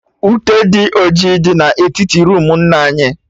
Ute dị ọjị dị na etiti roomu nna anyị